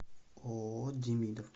ооо демидов